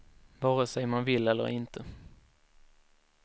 Vare sej man vill eller inte.